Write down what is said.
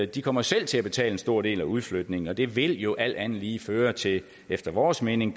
de kommer selv til at betale en stor del af udflytningen og det vil jo alt andet lige føre til efter vores mening